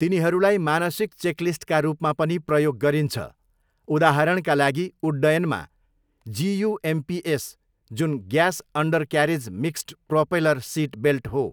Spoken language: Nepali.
तिनीहरूलाई मानसिक चेकलिस्टका रूपमा पनि प्रयोग गरिन्छ, उदाहरणका लागि उड्डयनमा 'जियुएमपिएस', जुन 'gas undercarriage mixed propeller seat belt' हो।